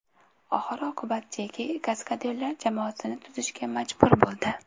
Oxir oqibat Jeki kaskadyorlar jamoasini tuzishga majbur bo‘ldi.